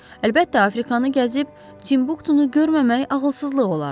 Əlbəttə, Afrikanı gəzib Timbuktunu görməmək ağılsızlıq olardı.